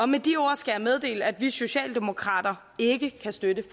med de ord skal jeg meddele at vi socialdemokrater ikke kan støtte